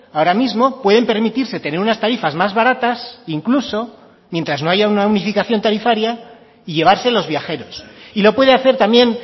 ahora mismo pueden permitirse tener unas tarifas más baratas incluso mientras no haya una unificación tarifaria y llevarse los viajeros y lo puede hacer también